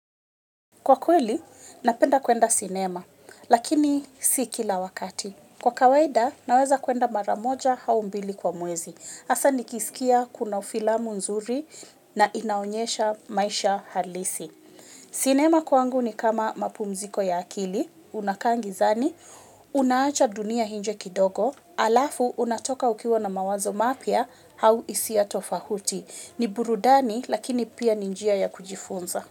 Kwa kweli, napenda kwenda sinema, lakini si kila wakati. Kwa kawaida, naweza kwenda maramoja au mbili kwa mwezi. Hasa nikisikia kuna filamu nzuri na inaonyesha maisha halisi. Sinema kwangu ni kama mapumziko ya akili, unakaa gizani, unaacha dunia nje kidogo, alafu, unatoka ukiwa na mawazo mapya, au hisia tofauti. N iburudani, lakini pia ni njia ya kujifunza.